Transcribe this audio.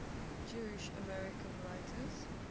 jewish american writers